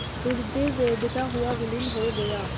हृदय वेधता हुआ विलीन हो गया